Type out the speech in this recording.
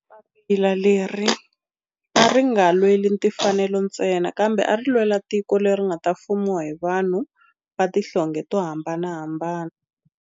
Papila leri a ri nga lweli timfanelo ntsena kambe ari lwela tiko leri nga ta fumiwa hi vanhu va tihlonge to hambanahambana.